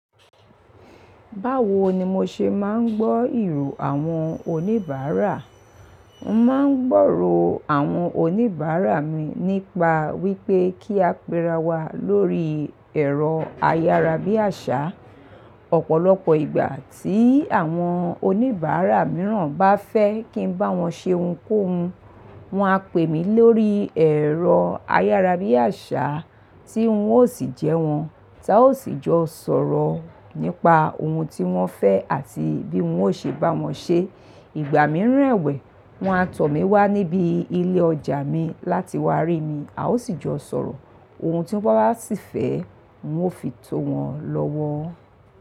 Báwo ni mo ṣe máa ń gbọ́ ìró àwọn oníbàárà? Mo máa ń gbòòrò àwọn oníbàárà mi nípa wípé kí a péra wa lórí ẹ̀rọ ayárabíàṣá. Ọ̀pọ̀lọpọ̀ ìgbà tí àwọn oníbàárà mìíràn bá fẹ́ kí ń bá wọn ṣe ohunkóhun, wọn á pè mí lórí ẹ̀rọ ayárabíàṣá tí ń ò sì jẹ́ wọn, táa ó sì jọ sọ̀rọ̀ nípa ohun tí wón fẹ́ àti bí wọn ó ṣe bá wọn ṣe. Ìgbà mìíràn ẹ̀wẹ̀, wọn á tọ̀ mí wá níbi ilé ọjà mi láti wá rí mi, a ó sì jọ sọ̀rọ̀. Ohun tí wọ́n bá sì fẹ́, n ó fi tó wọn lọ́wọ́.